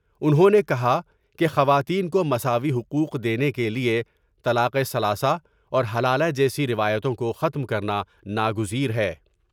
انھوں نے کہا کہ خواتین کو مساوی حقوق دینے کے لیے طلاقِ ثلاثہ اور حلالہ جیسی روایتوں کو ختم کر نا نا گز یہ ہے ۔